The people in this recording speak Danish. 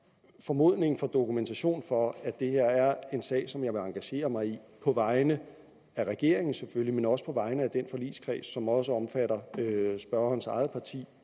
formodning for dokumentation for at det her er en sag som jeg vil engagere mig i på vegne af regeringen selvfølgelig men også på vegne af den forligskreds som også omfatter spørgerens eget parti